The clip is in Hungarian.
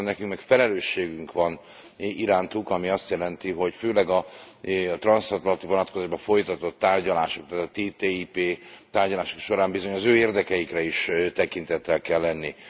Viszont nekünk meg felelősségünk van irántuk, ami azt jelenti, hogy főleg a transzatlanti vonatkozásban folytatott tárgyalások, a TTIP tárgyalások során bizony az ő érdekeikre is tekintettel kell lenni.